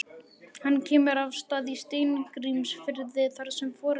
Hann kemur að Stað í Steingrímsfirði þar sem foreldrar